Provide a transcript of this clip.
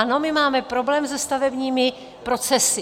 Ano, my máme problém se stavebními procesy.